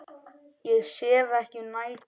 Ég sef ekki um nætur.